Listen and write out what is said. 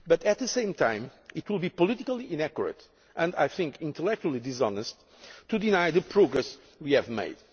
But at the same time, it would be politically inaccurate and, I think, intellectually dishonest to deny the progress we have made.